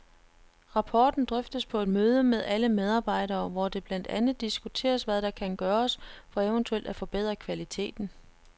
Rapporten drøftes på et møde med alle medarbejdere, hvor det blandt andet diskuteres hvad der kan gøres for eventuelt at forbedre kvaliteten.